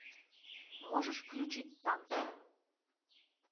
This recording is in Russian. можешь включить танки